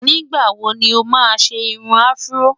nígbà wò ni oma ṣé irún afro?